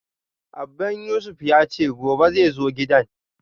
Abban Yusuf yace gobe xai zo gidan